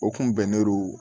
O kun bɛnnen do